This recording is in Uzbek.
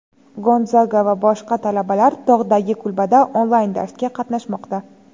Gonzaga va boshqa talabalar tog‘dagi kulbada onlayn darsga qatnashmoqda.